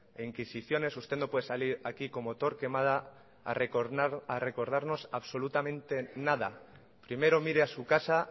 e inquisiciones usted no puede salir aquí como torquemada a recordarnos absolutamente nada primero mire a su casa